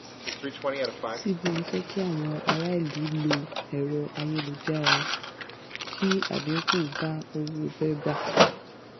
cbn fẹ́ kí àwọn um aráàlú lo ẹ̀rọ-ayélujára kí àdínkù um bá owó bébà.